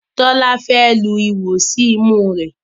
Tola Fe lu iwọ sí imú rẹ